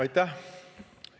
Aitäh!